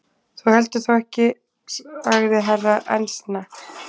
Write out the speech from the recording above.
Þú heldur þó ekki sagði Herra Enzana.